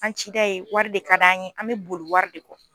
An cida ye wari de ka d'an ye an bɛ boli wari de kɔ.